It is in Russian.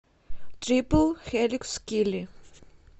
трипл хеликс килли